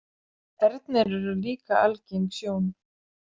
Ernir eru líka algeng sjón.